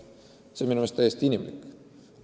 See on minu meelest täiesti inimlik.